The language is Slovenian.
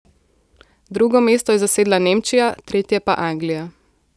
Drugo mesto je zasedla Nemčija, tretje pa Anglija.